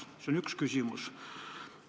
See on üks küsimus.